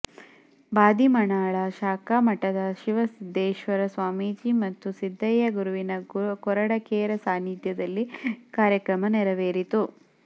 ಬಾದಿಮನಾಳ ಶಾಖಾ ಮಠದ ಶಿವಸಿದ್ದೇಶ್ವರ ಸ್ವಮೀಜಿ ಮತ್ತು ಸಿದ್ದಯ್ಯ ಗುರುವಿನ ಕೊರಡಕೇರ ಸಾನ್ನಿಧ್ಯದಲ್ಲಿ ಕಾರ್ಯಕ್ರಮ ನೆರವೇರಿತು